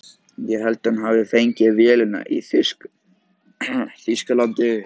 Ég held að hann hafi fengið vélina í Þýskalandi.